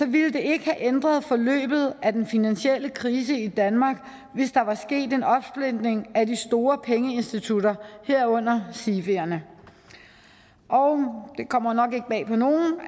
ville det ikke have ændret forløbet af den finansielle krise i danmark hvis der var sket en opsplitning af de store pengeinstitutter herunder sifierne det kommer nok ikke bag på nogen